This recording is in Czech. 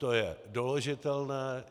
To je doložitelné.